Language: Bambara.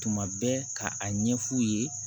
Tuma bɛɛ ka a ɲɛ f'u ye